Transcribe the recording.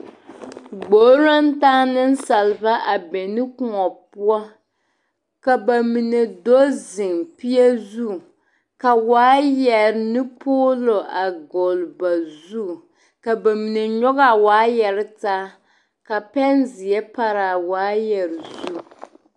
Gbori naŋ taa nensaaleba a be ne kõɔ poɔ ka ba mine do zeŋ peɛ zu ka wɔɔyare ne poloo a gull ba zu ka ba mine nyɔge a wɔɔyare taa ka pɛnseɛ pare a wɔɔyare zu.